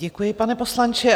Děkuji, pane poslanče.